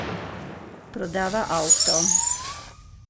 Prodava avto.